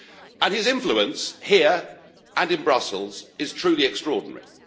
And his influence here and in Brussels is truly extraordinary.